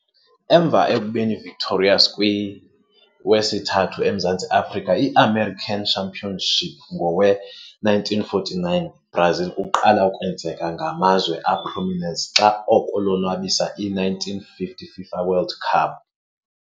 Emva ekubeni victorious kwi wesithathu emzantsi Afrika i-American Championship ngowe - 1949 Brazil kuqala kwenzeka ngamazwe prominence xa oko lonwabisa i - 1950 FIFA World Cup.